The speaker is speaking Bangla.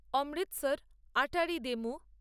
অমৃতসর আটারি ডেমো